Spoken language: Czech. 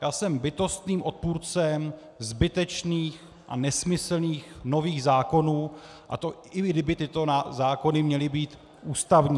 Já jsem bytostným odpůrcem zbytečných a nesmyslných nových zákonů, a to i kdyby tyto zákony měly být ústavní.